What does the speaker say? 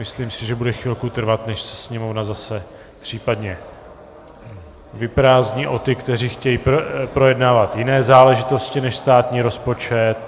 Myslím si, že bude chvilku trvat, než se sněmovna zase případně vyprázdní o ty, kteří chtějí projednávat jiné záležitosti než státní rozpočet.